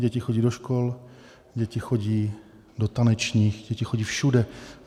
Děti chodí do škol, děti chodí do tanečních, děti chodí všude.